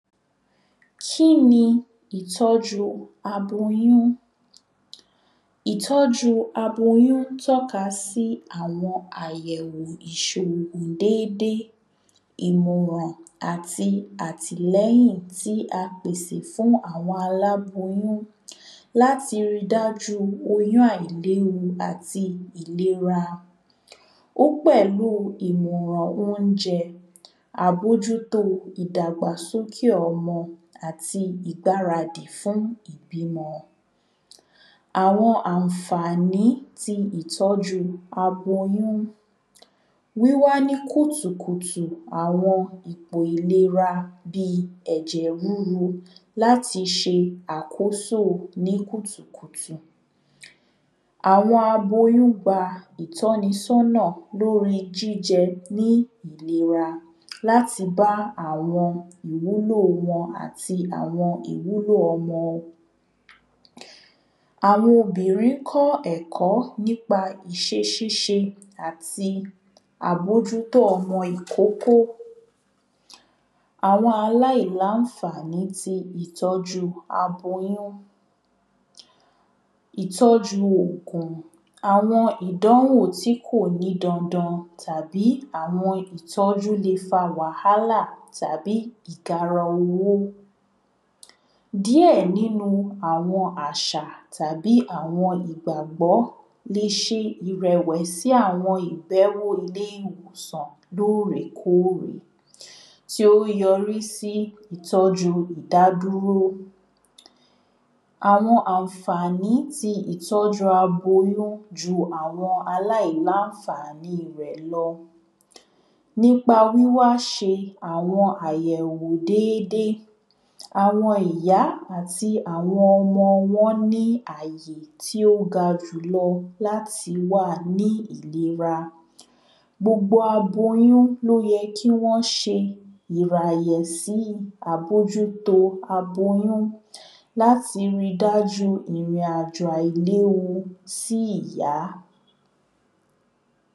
Kíni ìtọ́jú aboyún Ìtọ́jú aboyún tọ́ka si àwọn àyẹ̀wò Dédé ìmọ̀ràn àti àtìlẹ́yìn tí a pèsè fún àwọn aláboyún láti ri dájú oyún àìléwu àti àìlera Ó pẹ̀lú ìmọ̀ràn óunjẹ àbójútó ìdàgbàsókè ọmọ àti ìgbaradì fún ìbímọ Àwọn àǹfàní ti ìtọ́jú aboyún Wíwá ní kùtùkùtù àwọn ipò ìlera bíi ẹ̀jẹ̀ rúru láti ṣe àkóso ní kùtùkùtù Àwọn aboyún gba ìtọ́nisọ́nà lórí jíjẹ ní ìlera láti bá àwọn ìwúlò wọn àti ìwúlò ọmọ Àwọn obìnrin kọ́ ẹ̀kọ́ nípa iṣẹ́ ṣíṣe àti àbójútó ọmọ ìkókó Àwọn aláìláńfàní tí ìtọ́jú aboyún Ìtọ́jú Àwọn ìdánwò tí kò ní dandan tàbí àwọn ìtọ́jú lè fa wàhálà tàbí igara owó Díẹ̀ nínú àwọn àṣà tàbí àwọn ìgbàgbọ́ lè ṣe ìrẹ̀wẹ̀sì àwọn ìbẹ̀wò ilé ìwòsan lóòrèkóòrè tí ó yọrí sí ìtọ́jú ìdádúró Àwọn àǹfàní tí ìtọ́jú ti aboyún ju àwọn aláìláńfàní rẹ̀ lọ Nípa wíwá ṣe àwọn ayẹ̀wò dédé àwọn ìyá àti àwọn ọmọ wọ́n ní àyè tí ó ga jù lọ láti wà ní ìlera